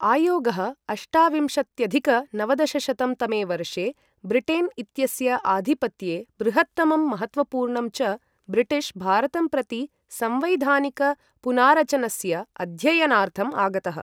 आयोगः अष्टाविंशत्यधिक नवदशशतं तमे वर्षे ब्रिटेन् इत्यस्य आधिपत्ये बृहत्तमं महत्त्वपूर्णं च ब्रिटिश् भारतं प्रति संवैधानिक पुनारचनस्य अध्ययनार्थम् आगतः।